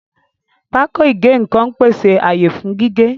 Pákó ìgé-nǹkan ń pèsè àyè fún gígé